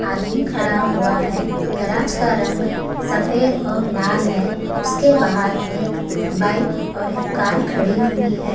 आदमी खड़ा हुआ है गैराज का रंग सफेद और लाल है उसके बाहर एक बाइक और एक कार खड़ी हुई है।